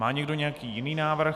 Má někdo nějaký jiný návrh?